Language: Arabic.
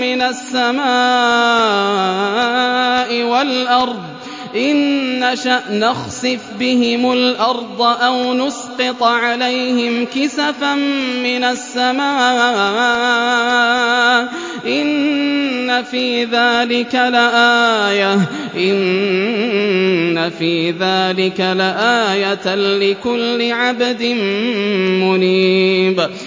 مِّنَ السَّمَاءِ وَالْأَرْضِ ۚ إِن نَّشَأْ نَخْسِفْ بِهِمُ الْأَرْضَ أَوْ نُسْقِطْ عَلَيْهِمْ كِسَفًا مِّنَ السَّمَاءِ ۚ إِنَّ فِي ذَٰلِكَ لَآيَةً لِّكُلِّ عَبْدٍ مُّنِيبٍ